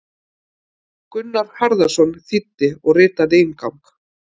Gunnar Harðarson þýddi og ritaði inngang.